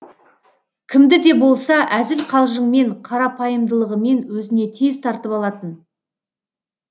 кімді де болса әзіл қалжыңмен қарапайымдылығымен өзіне тез тартып алатын